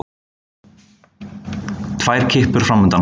Tvær kippur framundan.